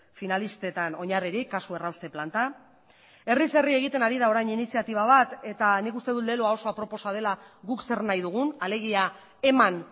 finalistetan oinarririk kasu errauste planta herriz herri egiten ari da orain iniziatiba bat eta nik uste dut leloa oso aproposa dela guk zer nahi dugun alegia eman